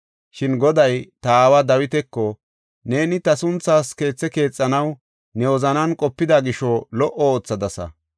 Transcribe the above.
Shin Goday ta aawa Dawitako, ‘Neeni ta sunthaas keethe keexanaw ne wozanan qopida gisho lo77o oothadasa.